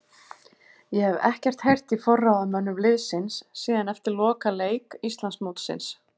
Ég hef ekkert heyrt í forráðamönnum liðsins síðan eftir lokaleik Íslandsmótsins.